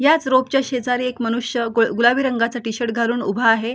याच रोप च्या शेजारी एक मनुष्य ग गुलाबी रंगाचा टी शर्ट घालून उभा आहे.